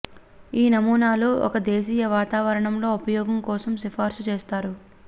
ఈ నమూనాలు ఒక దేశీయ వాతావరణంలో ఉపయోగం కోసం సిఫార్సు చేస్తారు